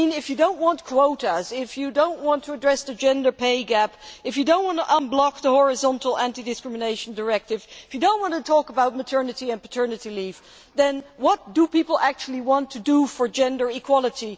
I mean, if you do not want quotas, if you do not want to address the gender pay gap, if you do not want to unblock the horizontal Anti Discrimination Directive, if you do not want to talk about maternity and paternity leave, then what do people actually want to do for gender equality?